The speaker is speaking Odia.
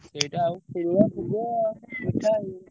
ସେଇଟା ଆଉ ମିଠା ଏଇ।